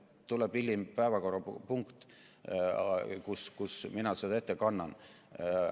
Hiljem tuleb päevakorrapunkt, mille raames mina seda ette kannan.